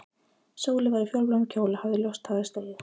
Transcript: Sóley var í fjólubláum kjól og hafði ljóst hárið slegið.